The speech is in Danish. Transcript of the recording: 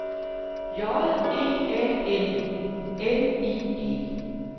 J E A N N I E